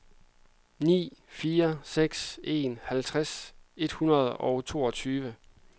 ni fire seks en halvtreds et hundrede og toogtyve